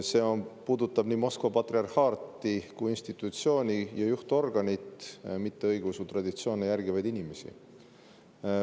See puudutab Moskva patriarhaati kui institutsiooni ja juhtorganit, mitte õigeusutraditsioone järgivaid inimesi.